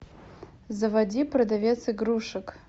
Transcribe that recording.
заводи продавец игрушек